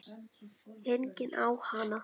Enginn á hana.